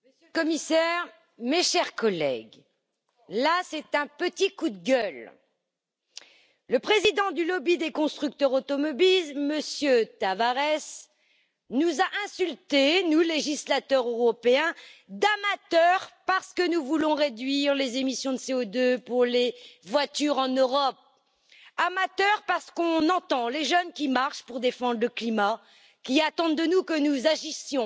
Monsieur le Président, Monsieur le Commissaire, mes chers collègues, là c'est un petit coup de gueule le président du lobby des constructeurs automobiles, M. Tavares, nous a traités, nous législateurs européens, d'amateurs parce que nous voulons réduire les émissions de CO2 pour les voitures en Europe. Amateurs, parce que nous entendons les jeunes qui marchent pour défendre le climat, qui attendent de nous que nous agissions